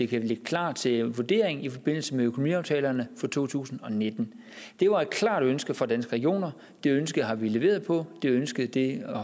kan ligge klar til vurdering i forbindelse med økonomiaftalerne for to tusind og nitten det var et klart ønske fra danske regioner det ønske har vi leveret på det ønske